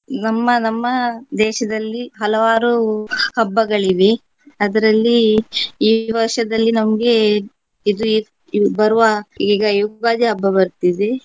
ನಮ್ಮ ನಮ್ಮ ದೇಶದಲ್ಲಿ ಹಲವಾರು ಹಬ್ಬಗಳಿವೆ. ಅದರಲ್ಲಿ ಈ ವರ್ಷದಲ್ಲಿ ನಮ್ಗೆ ಇದು ಈ ಬರುವ ಈಗ ಯುಗಾದಿ ಹಬ್ಬ ಬರ್ತಿದೆ.